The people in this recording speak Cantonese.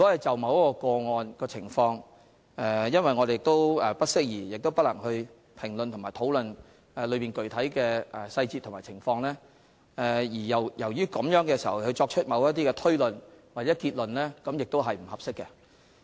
首先，由於我們不適宜亦不能評論或討論某一個案的具體細節和情況，就該個案作出某些推論或結論並不合適。